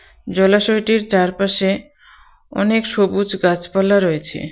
জলাশয়টির চারপাশে অনেক সবুজ গাছপালা রয়েছে.